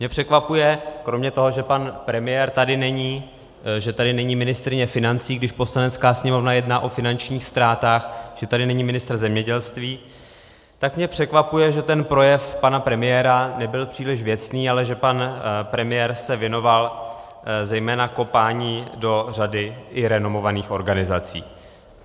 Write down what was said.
Mě překvapuje, kromě toho, že pan premiér tady není, že tady není ministryně financí, když Poslanecká sněmovna jedná o finančních ztrátách, že tady není ministr zemědělství, tak mě překvapuje, že ten projev pana premiéra nebyl příliš věcný, ale že pan premiér se věnoval zejména kopání do řady i renomovaných organizací.